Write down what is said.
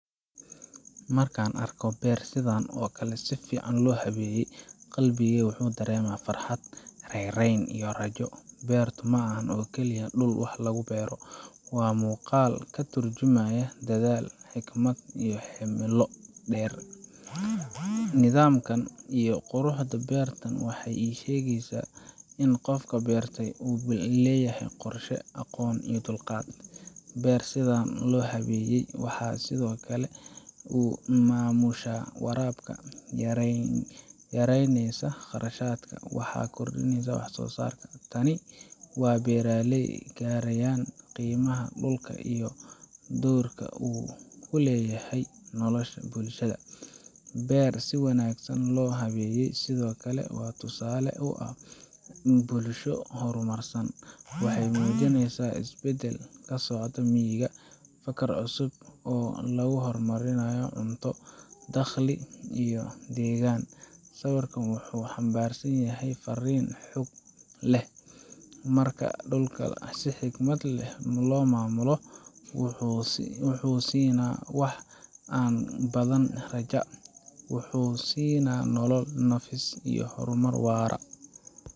Markaan arko beer sidan oo kale ah oo si fiican loo habeeyey, qalbigayga wuxuu dareemayaa farxad, raynrayn, iyo rajo. Beertu ma aha oo keliya dhul wax lagu beero waa muuqaal ka turjumaya dadaal, xikmad, iyo himilo dheer. Nidaamka iyo quruxda beertan waxay ii sheegayaan in qofka beertay uu leeyahay qorshe, aqoon, iyo dulqaad. Beer sidaan loo habeeyey waxay si fudud u maamushaa waraabka, yareyneysaa khasaaraha, waxayna kordhisaa wax soosaarka. Tani waa beeraley garanaya qiimaha dhulka iyo doorka uu ku leeyahay nolosha bulshada. Beer si wanaagsan loo habeeyey sidoo kale waa tusaale u ah bulsho horumarsan. Waxay muujinaysaa isbeddel ka socda miyiga, fikir cusub oo lagu horumarinayo cunto, dakhli iyo deegaan. Sawirkan wuxuu xambaarsan yahay fariin xoog leh marka aan dhulka si xikmad leh u maamulno, wuxuu na siinaa wax aan ka badan rajada wuxuu na siinaa nolol, nafis, iyo horumar waara.